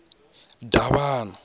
davhana